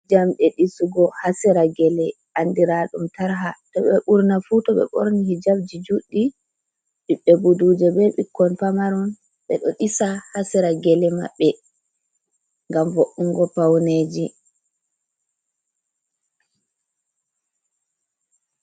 Jamɗe disugo haa sera gele andira ɗum tarha, to burna fu to ɓe ɓorni hijabji juɗɗi ɓiɓɓe buduja be ɓikkon pamaron ɓe ɗo disa haa sera gele maɓɓe ngam vo’ungo pauneji.